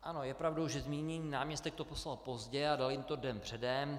Ano, je pravdou, že zmíněný náměstek to poslal pozdě a dal jim to den předem.